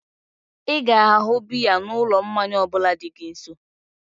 Ịga ahu biya na ụlọ mmanya ọbụla dị gị nso